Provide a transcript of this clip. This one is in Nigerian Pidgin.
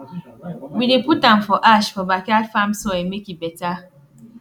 we dey put am for ash for backyard farm soil make e better